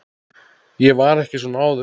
Ég var ekki svona áður.